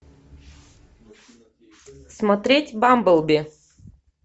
смотреть бамблби